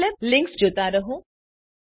Scilab Linux જોતા રહો